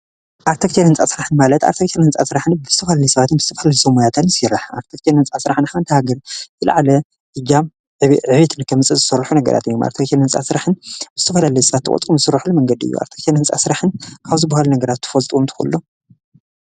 ኣርቲቴክቸር ህንፃ ስራሕ ማለት ኣርቲቴክቸር ህንፃ ስራሕ ዝተፈላለዩ ሰባት ምስ ዝተፈላለዩ ሰብ ሞያታት ይስራሕ ኣርቲቴክቸር ህንፃ ስራሕ ንሓንቲ ሃገር ዝለዓለ እጃም ዕብየትን ንክተምፅእ ዝስርሑ ነገራት እዮም ኣርቲቴክቸር ህንፃ ስራሕ ዝተፈላለዩ ዝተቆፀሩ ሰባት ዝሰርሑን መንገዲ እዩ ኣርቲቴክቸር ህንፃ ስራሕን ካብ ዝበሃሉ ነገራት ትፈልጥዎም ትክእሉ ዶ?